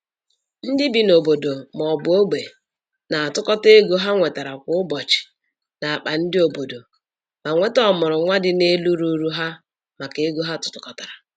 Ndị bi n'obodo maọbu ogbe na-atụkọta ego ha nwetara kwa ụbọchị n'akpa ndị obodo ma nweta ọmụrụ nwa dị n'elu ruru ha maka ego ha tụkọtara